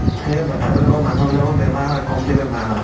সেয়া বাচ্ছা বিলাকৰ মানুহ বিলাকৰ বেমাৰ হয় কম্তি বেমাৰ হয়।